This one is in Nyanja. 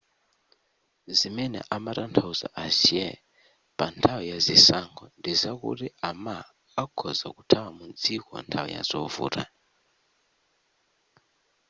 zimene amatanthauza ahsieh panthawi ya zisankho ndizakuti a ma akhoza kuthawa mu dziko nthawi ya zovuta